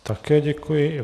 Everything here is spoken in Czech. Také děkuji.